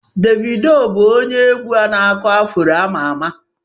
Devido bụ onye egwu Aku-afuro ama ama.